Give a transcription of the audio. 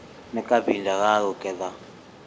Nĩ kahinda ga kũgetha